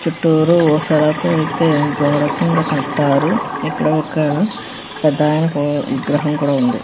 చుట్టూరా ఊసలతో అయితే గోడ కింద కట్టారు ఇక్కడ ఒక పెద్దయన విగ్రహం కూడా ఉంది.